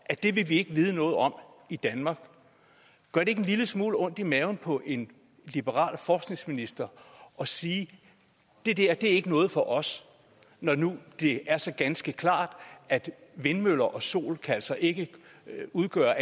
at det vil vi ikke vide noget om i danmark gør det ikke en lille smule ondt i maven på en liberal forskningsminister at sige at det der ikke er noget for os når nu det er så ganske klart at vindmøller og sol altså ikke kan udgøre